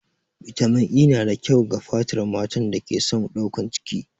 Bitamin E na da kyau ga fatar matan da ke son ɗaukan ciki.